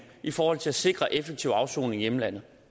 i forhold til at sikre en effektiv afsoning i hjemlandet